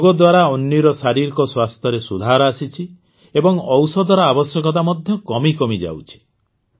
ଯୋଗ ଦ୍ୱାରା ଅନ୍ୱୀର ଶାରୀରିକ ସ୍ୱାସ୍ଥ୍ୟରେ ସୁଧାର ଆସିଛି ଏବଂ ଔଷଧର ଆବଶ୍ୟକତା ମଧ୍ୟ କମିକମି ଯାଉଛି